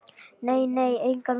Nei, nei, engan veginn.